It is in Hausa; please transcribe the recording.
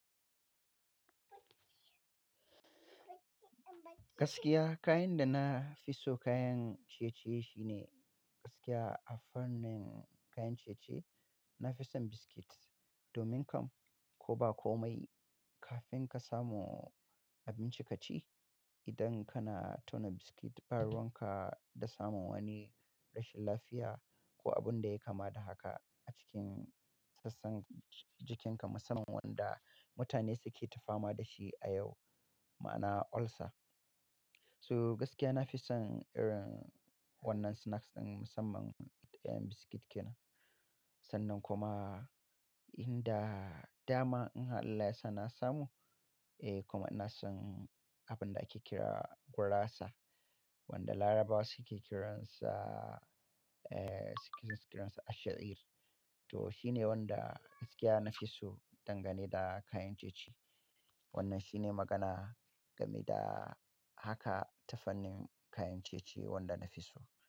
Gaskiya kayan da na fi so kayan ciye-ciye shine gaskiya a fannin kayan ciye-ciye, na fi son biscuit domin kam ko ba komai kafin ka samu abinci ka ci, idan kana tauna biscuit ba ruwan ka da samun wani rashin lafiya ko abun da ya kama da haka a cikin sassan jikinka, musamman wanda mutane suke ta fama da shi a yau ma'ana ulcer. So gaskiya na fi son irin wannan snacks ɗin musamman kayan biscuit kenan. Sannan kuma in da dama in Allah ya sa na samu, eh kuma ina son abin da ake kira gurasa wanda Larubawa suke kiransa, eh suke kiransa asha'ir To shine wanda gaskiya na fi so dangane da kayan ciye-ciye. Wannan shine magana game da haka tafanin kayan ciye-ciye wanda na fi so.